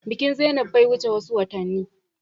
Bikin zainab bai wuce wasu watanni ba.